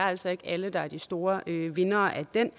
altså ikke er alle der er de store vindere af den